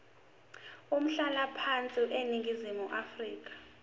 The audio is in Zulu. umhlalaphansi eningizimu afrika